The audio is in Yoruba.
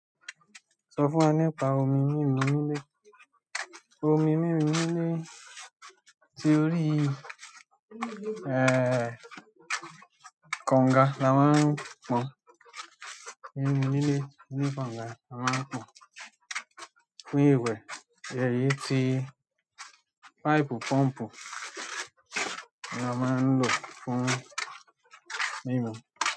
Sọ fún wa nípa omi mímu nílé. Omi mímu nílé torí, eh, konga la máa ń pọn, nínú konga la máa ń pọn, fún ìwẹ̀, èyí ti páìpù pọ́ǹpù ni a máa ń lò fún mímu.